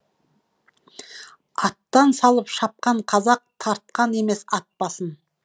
аттан салып шапқан қазақ тартқан емес ат басын